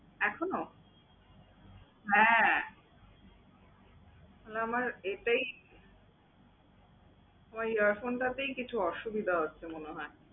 এখনো? হ্যাঁ, তাহলে আমার এটাই ওই আহ phone টাতেই কিছু অসুবিধা আছে মনে হয়।